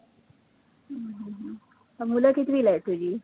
हम्म हम्म मुलं कितवीला आहेत तुझी?